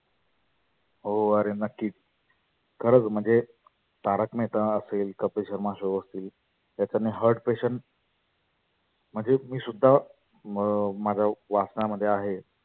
हो आरे नक्कीच खरच म्हणजे तारक मेहता असेल, कपिल शर्मा show असेल त्याच्याने heart petiant म्हणजे मी सुद्धा म माझ्या वाचण्यामध्ये आहे.